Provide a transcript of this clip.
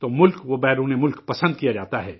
تو ملک اور بیرون ممالک پسند کیا جاتا ہے